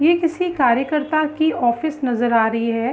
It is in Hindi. ये किसी कार्यकर्ता की ऑफिस नज़र आ रही हैं।